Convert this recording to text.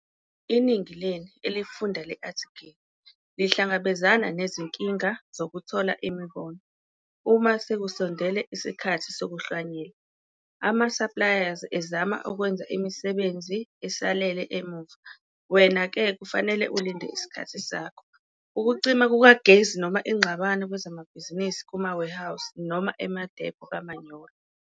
Iningi lenu, elifunda le-athikhile lihlangabezane nezinkinga zokuthola imibono, uma sekusondele isikhathi sokuhlwanyela. Amasaplayazi ezama ukwenza imisebenzi esalele emuva wena ke kufanele ulinde isikhathi sakho. Ukucima kukagesi noma ingxabano kwezemisebenzi kuma-warehouse noma emadepho kamanyolo.